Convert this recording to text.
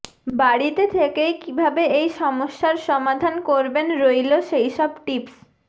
বাড়িতে থেকেই কিভাবে এই সমস্যার সমাধান করবেন রইল সেইসব টিপস